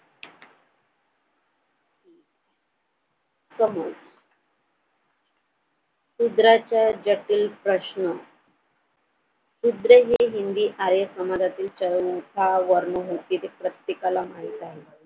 समोर शुद्राच्या जटिल प्रश्न शूद्रे हि हिंदी आर्य समाजातील चरण उठाव वर्ण होती हे प्रत्येकाला माहित आहे.